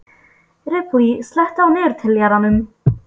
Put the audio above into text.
Ripley, slökktu á niðurteljaranum.